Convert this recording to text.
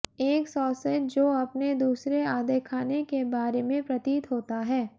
एक सॉसेज जो अपने दूसरे आधे खाने के बारे में प्रतीत होता है